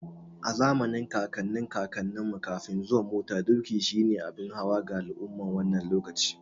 A zamanin kakannin kakanni, Kafin zuwan mota, doki shi ne abin hawa ga al'umman wannan lokacin.